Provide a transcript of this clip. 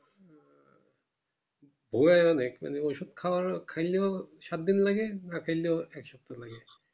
অনেক মানে ওষুধ খাওয়ার ও খাইলেও সাত দিন লাগে না খালেও এক সপ্তা লাগে